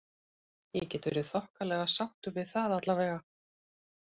Ég get verið þokkalega sáttur við það allavega.